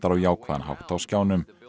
á jákvæðan hátt á skjánum